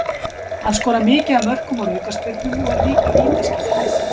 Hann skorar mikið af mörkum úr aukaspyrnum og er líka vítaskytta liðsins.